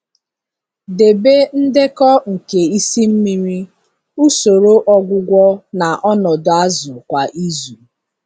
Debe ndekọ nke isi mmiri, usoro ọgwụgwọ na ọnọdụ azụ kwa izu.